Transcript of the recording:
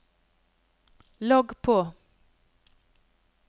logg på